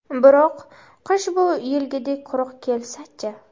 Biroq, qish bu yilgidek quruq kelsa-chi?